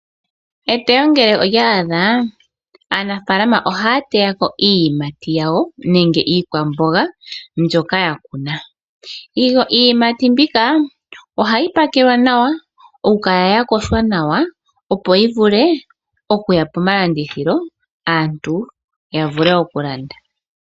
Eteyo ngele olya adha, aanafalama ohaya teya ko iiyimati yawo nenge iikwamboga mbyoka ya kuna. Iiyimati mbika ohayi pakelwa nawa, okukala ya yogwa nawa opo yi vule okuya pomalandithilo, aantu ya vule okulanda.